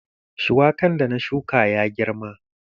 Shuwakan da na shuka ya girma.